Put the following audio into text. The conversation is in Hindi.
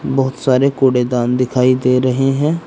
बहुत सारे कूड़ेदान दिखाई दे रहे हैं।